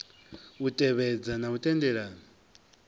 u tevhedza na u tendelana